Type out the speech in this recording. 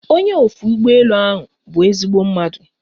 Onye ofe ụgbọ elu ahụ bụ ezigbo mmadụ